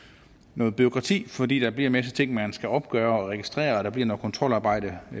noget bureaukrati fordi der bliver en masse ting man skal opgøre og registrere og der bliver noget kontrolarbejde